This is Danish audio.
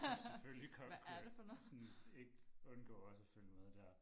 Så selvfølgelig kunne jeg sådan ikke undgå også at følge med dér